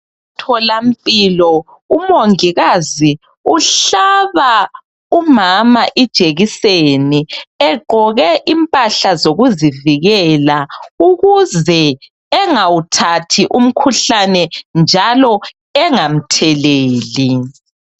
Tholampilo umongikazi uhlaba umama ijekiseni egqoke impahla zokuzivike ukuze engawuthathi umikhuhlane njalo engamtheleli